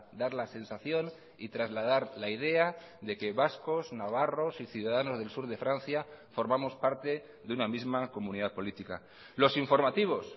dar la sensación y trasladar la idea de que vascos navarros y ciudadanos del sur de francia formamos parte de una misma comunidad política los informativos